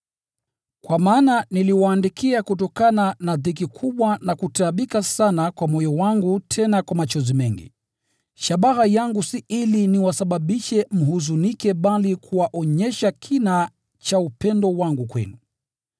Kwa maana niliwaandikia kutokana na dhiki kubwa na kutaabika sana kwa moyo wangu tena kwa machozi mengi, shabaha yangu si ili niwasababishe mhuzunike bali kuwaonyesha kina cha upendo wangu kwenu.